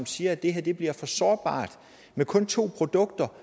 siger at det bliver for sårbart med kun to produkter